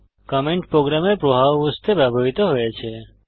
comment প্রোগ্রামের প্রবাহ বুঝতে ব্যবহৃত হয়েছে